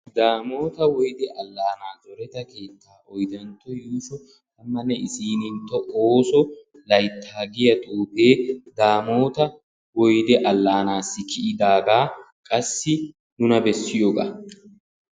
Daamota woyde alaanaa zoreta keetta oydantto yuusho koyro tammanne issininttoo oosso layttaa giya xuufee daamoota alaanaassi kiyidaagaa qassi nuna bessiyoogaa.